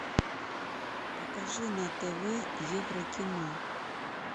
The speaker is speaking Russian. покажи на тв евро кино